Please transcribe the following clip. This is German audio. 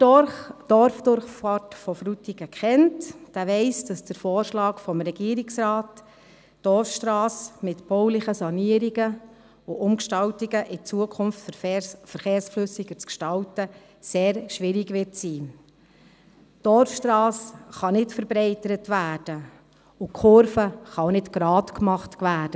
Wer die Dorfdurchfahrt von Frutigen kennt, weiss, dass der Vorschlag des Regierungsrates, die Dorfstrasse mit baulichen Sanierungen und Umgestaltungen